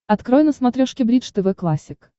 открой на смотрешке бридж тв классик